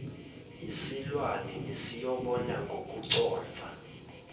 yisilwane besiyobona ngokuconsa